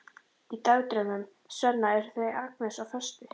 Í dagdraumum Svenna eru þau Agnes á föstu.